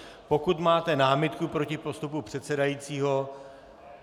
Pokud máte námitku proti postupu předsedajícího?